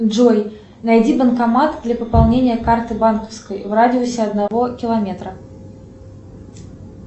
джой найди банкомат для пополнения карты банковской в радиусе одного километра